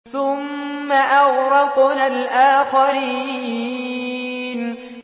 ثُمَّ أَغْرَقْنَا الْآخَرِينَ